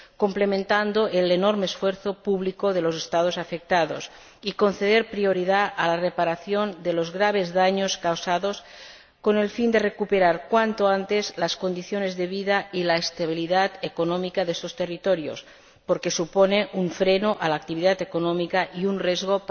complementando el enorme esfuerzo público de los Estados afectados, y conceder prioridad a la reparación de los graves daños causados con el fin de recuperar cuanto antes las condiciones de vida y la estabilidad económica de estos territorios, porque supone un freno a la actividad económica y un riesgo